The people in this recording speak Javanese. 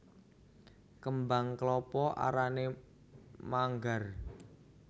Kembang klapa arané manggar